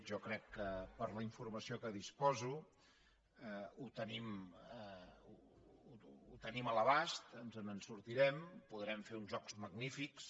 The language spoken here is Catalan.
jo crec que per la informació de què disposo ho tenim a l’abast ens en sortirem podrem fer uns jocs magnífics